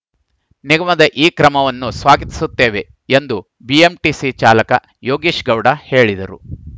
ನಿಗಮದ ಈ ಕ್ರಮವನ್ನು ಸ್ವಾಗತಿಸುತ್ತೇವೆ ಎಂದು ಬಿಎಂಟಿಸಿ ಚಾಲಕ ಯೋಗೇಶ್‌ಗೌಡ ಹೇಳಿದರು